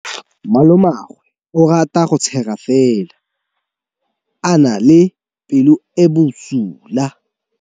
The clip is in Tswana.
Malomagwe o rata go tshega fela o na le pelo e e bosula.